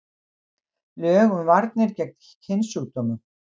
Lög um varnir gegn kynsjúkdómum.